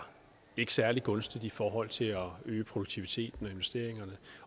særlig gunstige i forhold til at øge produktiviteten og investeringerne